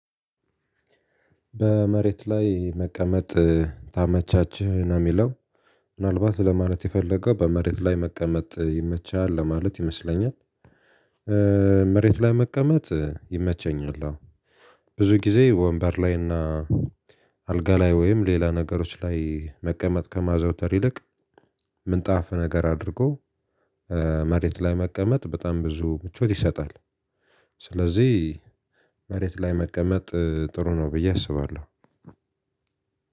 በመሬት ላይ መቀመጥ ታመቻችህ ነው የሚለው ምናልባት ለማለት የፈለገው በመሬት ላይ መቀመጥ ይመቻል ለማለት ይመስለኛል። መሬት ላይ መቀመጥ ይመቸኛል። ብዙ ጊዜ ወንበር ላይና አልጋ ላይ ወይም ሌላ ነገሮች ላይ መቀመጥ ከማዘውተር ይልቅ። ምንጣፍ ነገር አድርጎ መሬት ላይ መቀመጥ በጣም ብዙ ምቾት ይሰጣል። ስለዚህ መሬት ላይ መቀመጥ ጥሩ ነው ብዬ አስባለሁ።